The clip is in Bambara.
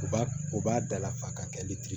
U b'a u b'a dala fa ka kɛ litiri ye